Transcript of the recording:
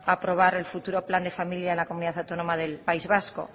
a aprobar el futuro plan de familia de la comunidad autónoma del país vasco